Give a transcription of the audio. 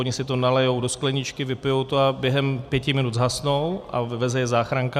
Oni si to nalijí do skleničky, vypijou to a během pěti minut zhasnou a vyveze je záchranka.